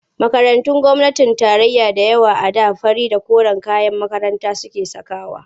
Makarantun gwamnatin tarayya da yawa a da fari da koren kayan makaranta suke sakawa.